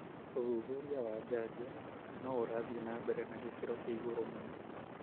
ũthuthuria wa janjo no ũrathi na mbere na gĩkiro kia igũrũ mũno.